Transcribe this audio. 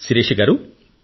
శిరీష గారూ